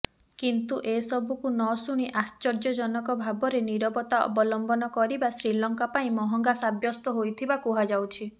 କିନ୍ତୁ ଏସବୁକୁ ନଶୁଣି ଆଶ୍ଚର୍ଯ୍ୟଜନକ ଭାବରେ ନୀରବତା ଅବଲମ୍ବନ କରିବା ଶ୍ରୀଲଙ୍କା ପାଇଁ ମହଙ୍ଗା ସାବ୍ୟସ୍ତ ହୋଇଥିବା କୁହାଯାଉଛି